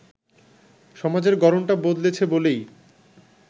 সমাজের গড়নটা বদলেছে বলেই